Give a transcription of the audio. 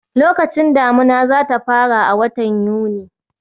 Lokacin damuna za ta fara a watan Yuni